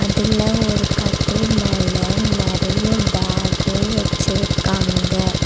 இதுல ஒரு கட்டில் மேல நெறைய பேகு வெச்சிருக்காங்க.